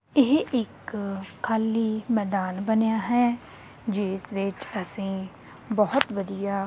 ਇਹ ਇੱਕ ਖਾਲੀ ਮੈਦਾਨ ਬਣਿਆ ਹੈ ਜਿਸ ਵਿੱਚ ਅਸੀਂ ਬਹੁਤ ਵਧੀਆ--